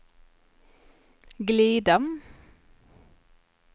glida